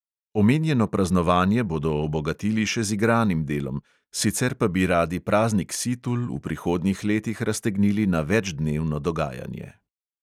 Omenjeno praznovanje bodo obogatili še z igranim delom, sicer pa bi radi praznik situl v prihodnjih letih raztegnili na večdnevno dogajanje.